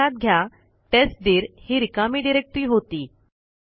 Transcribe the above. लक्षात घ्या टेस्टदीर ही रिकामी डिरेक्टरी होती